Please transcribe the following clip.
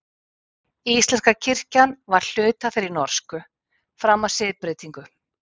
íslenska kirkjan var hluti af þeirri norsku fram að siðbreytingu